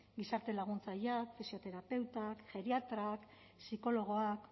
gizarte laguntzaileak fisioterapeutak geriatrak psikologoak